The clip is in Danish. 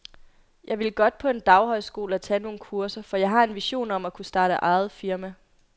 Jeg ville godt på en daghøjskole og tage nogle kurser, for jeg har en vision om at kunne starte eget firma.